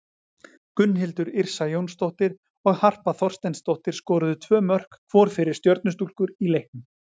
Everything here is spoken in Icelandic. Gunnhildur Yrsa Jónsdóttir og Harpa Þorsteinsdóttir skoruðu tvö mörk hvor fyrir Stjörnustúlkur í leiknum.